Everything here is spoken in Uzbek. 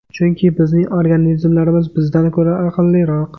Chunki bizning organizmlarimiz bizdan ko‘ra aqlliroq.